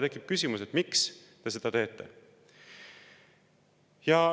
Tekib küsimus, miks te seda teete.